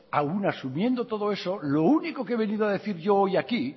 aún asumiendo todo eso lo único que he venido a decir yo hoy aquí